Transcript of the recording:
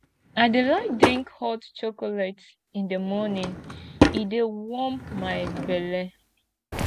i dey like drink hot chocolate in di morning e dey warm my belle